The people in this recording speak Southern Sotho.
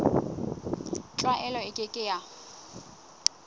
tlwaelo e ke ke ya